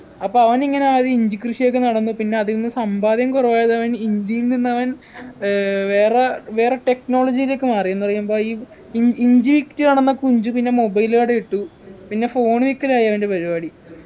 അപ്പോ അവനിങ്ങനെ ആദ്യം ഇഞ്ചിക്കൃഷിഒക്കെ നടമ്പൊ പിന്നെ അതീന്നു സമ്പാദ്യം കുറവായതവൻ ഇഞ്ചിയിൽ നിന്നവൻ ഏർ വേറെ വേറെ technology ലേക്ക് മാറി എന്ന പറയമ്പ ഈ ഇ ഇഞ്ചി വിറ്റു നടന്ന കുഞ്ചു പിന്നെ mobile കടയിട്ടു പിന്നെ phone വിക്കലായി അവൻ്റെ പരിപാടി